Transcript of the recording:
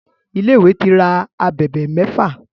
Ilé tí ìwé rà ábèbè méfà.